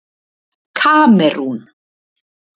Kamerún